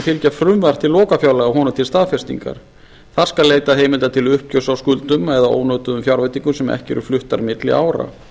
fylgja frumvarp til lokafjárlaga honum til staðfestingar þar skal leitað heimilda til uppgjörs á skuldum eða ónotuðum fjárveitingum sem ekki eru fluttar milli ára